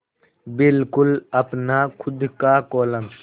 बिल्कुल अपना खु़द का कोलम